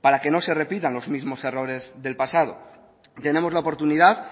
para que no se repitan los mismos errores del pasado tenemos la oportunidad